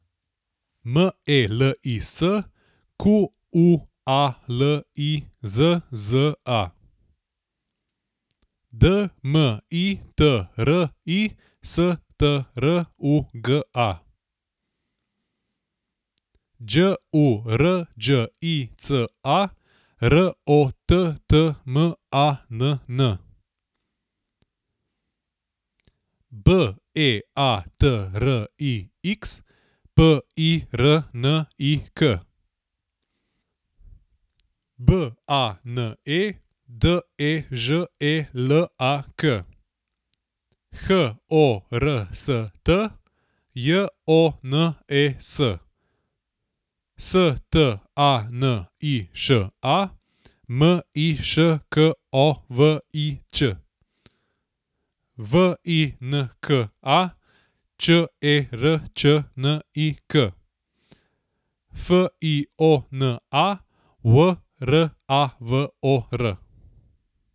M E L I S, Q U A L I Z Z A; D M I T R I, S T R U G A; Đ U R Đ I C A, R O T T M A N N; B E A T R I X, P I R N I K; B A N E, D E Ž E L A K; H O R S T, J O N E S; S T A N I Š A, M I Š K O V I Ć; V I N K A, Č E R Č N I K; F I O N A, W R A V O R.